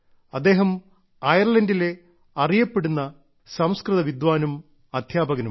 അദ്ദേഹം അയർലൻഡിലെ അറിയപ്പെടുന്ന സംസ്്കൃത വിദ്വാനും അധ്യാപകനുമാണ്